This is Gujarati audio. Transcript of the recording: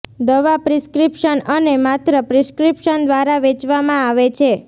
દવા પ્રિસ્ક્રિપ્શન અને માત્ર પ્રિસ્ક્રીપ્શન દ્વારા વેચવામાં આવે છે